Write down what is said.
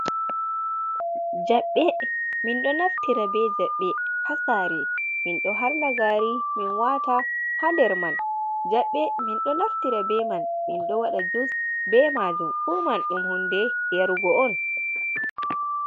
Jaɓɓe: Min ɗo naftira be jaɓɓe ha sare min do harna gari min wata ha nder man. Jaɓɓe min ɗo naftira be man min ɗo waɗa jus be majum fuman ɗum hunde yarugo on.